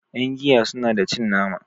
yangiya suna da cin nama